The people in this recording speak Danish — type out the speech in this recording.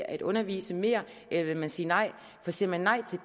at undervise mere eller vil man sige nej for siger man nej til